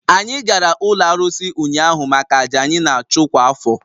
Anyị gara ụlọ arụsị ụnyaahụ maka àjà anyị na-achụ kwa afọ